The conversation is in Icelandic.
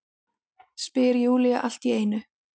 spyr Júlía allt í einu.